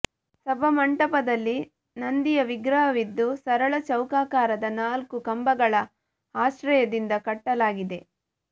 ಸಭಾಮಂಟಪದಲ್ಲಿ ನಂದಿಯ ವಿಗ್ರಹವಿದ್ದು ಸರಳ ಚೌಕಾಕಾರದ ನಾಲ್ಕು ಕಂಭಗಳ ಆಶ್ರಯದಿಂದ ಕಟ್ಟಲಾಗಿದೆ